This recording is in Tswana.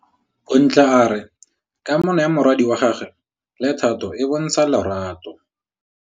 Bontle a re kamanô ya morwadi wa gagwe le Thato e bontsha lerato.